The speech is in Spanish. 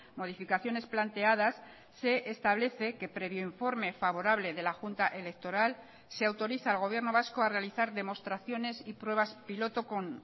modificaciones planteadas se establece que previo informe favorable de la junta electoral se autoriza al gobierno vasco a realizar demostraciones y pruebas piloto con